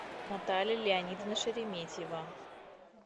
наталья леонидовна шереметьева